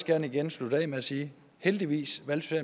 gerne igen slutte af med at sige heldigvis valgte